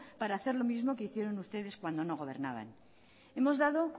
para hacer lo mismo que hicieron ustedes cuando no gobernaban hemos dado